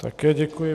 Také děkuji.